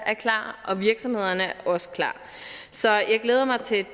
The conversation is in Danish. er klar og virksomhederne er også klar så jeg glæder mig til